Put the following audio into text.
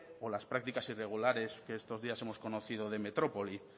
o las prácticas irregulares que estos días hemos conocido de metrópoli